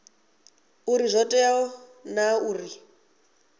uri zwo tea naa uri